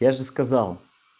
я же сказал